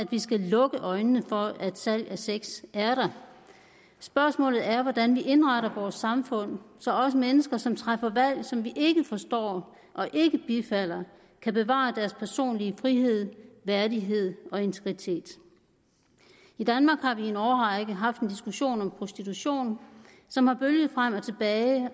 vi skal lukke øjnene for at salg af sex er der spørgsmålet er hvordan vi indretter vores samfund så også mennesker som træffer valg som vi ikke forstår og ikke bifalder kan bevare deres personlige frihed værdighed og integritet i danmark har vi i en årrække haft en diskussion om prostitution som har bølget frem og tilbage og